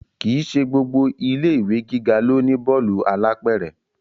Kì í ṣe gbogbo ilé ìwé gíga ló ní bọ́ọ̀lù alápẹ̀rẹ̀